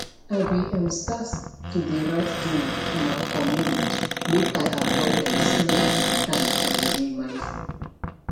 i be um start to de write journal for my communte make i avoid um screen um time and de mindful